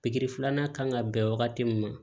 Pikiri filanan kan ka bɛn wagati min ma